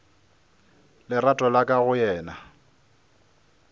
lerato la ka go yena